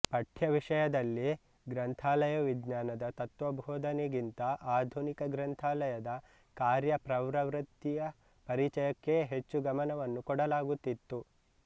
ಪಠ್ಯವಿಷಯದಲ್ಲಿ ಗ್ರಂಥಾಲಯ ವಿಜ್ಞಾನದ ತತ್ತ್ವಭೋಧನೆ ಗಿಂತ ಆಧುನಿಕ ಗ್ರಂಥಾಲಯದ ಕಾರ್ಯಪವ್ರವೃತ್ತಿಯ ಪರಿಚಯಕ್ಕೇ ಹೆಚ್ಚು ಗಮನವನ್ನು ಕೊಡಲಾಗುತ್ತಿತ್ತು